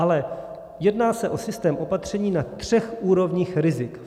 Ale jedná se o systém opatření na třech úrovních rizik.